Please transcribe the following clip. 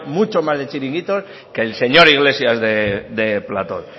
mucho más de chiringuitos que el señor iglesias de platos